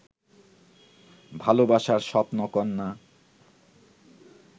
ভালোবাসার স্বপ্নকন্যা